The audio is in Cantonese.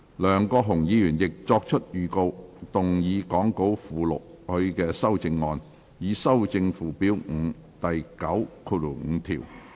梁國雄議員亦已作出預告，動議講稿附錄他的修正案，以修正附表5第95條。